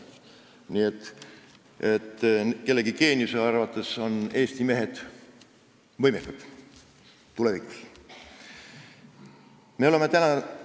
Nii et kellegi geeniuse arvates on Eesti mehed tulevikus võimekamad.